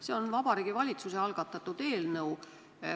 See on Vabariigi Valitsuse algatatud eelnõu.